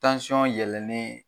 yɛlɛnen